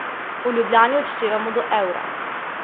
V Ljubljani odštevamo do Eura.